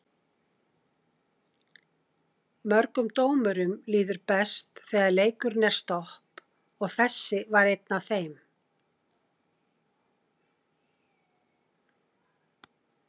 Mörgum dómurum líður best þegar leikurinn er stopp og þessi var einn af þeim.